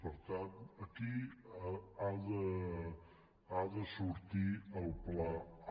per tant aquí ha de sortir el pla a